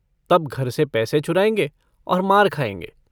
तब घर से पैसे चुराएंगे और मार खाएंगे।